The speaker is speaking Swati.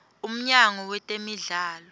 umnyango wetemidlalo